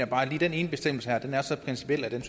bare den ene bestemmelse her er så principiel at den